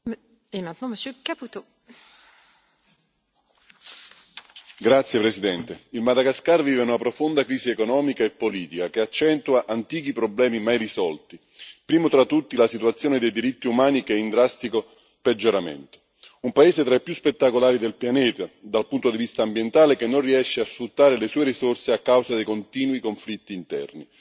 Signora Presidente, onorevoli colleghi, il Madagascar vive una profonda crisi economica e politica che accentua antichi problemi mai risolti, primo tra tutti la situazione dei diritti umani, che è in drastico peggioramento. Un paese tra i più spettacolari del pianeta dal punto di vista ambientale che non riesce a sfruttare le sue risorse a causa dei continui conflitti interni.